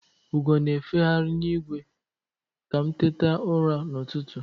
Ugo na-efeghari n'igwe ka m tetara ụra n'ụtụtụ.